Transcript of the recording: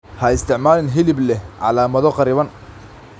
Ha isticmaalin hilib leh calaamado kharriban.